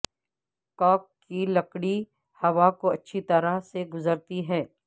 کاک کی لکڑی ہوا کو اچھی طرح سے گزرتی ہے